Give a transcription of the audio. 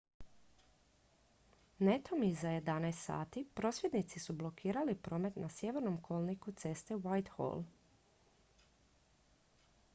netom iza 11:00 h prosvjednici su blokirali promet na sjevernom kolniku ceste whitehall